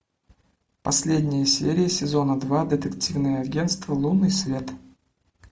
последния серия сезона два детективное агенство лунный свет